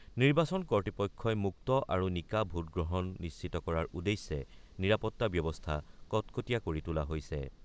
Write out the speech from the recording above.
নিৰ্বাচন কৰ্তৃপক্ষই মুক্ত আৰু নিকা ভোটগ্ৰহণ নিশ্চিত কৰাৰ উদ্দেশ্যে নিৰাপত্তা ব্যৱস্থা কটকটীয়া কৰি তোলা হৈছে।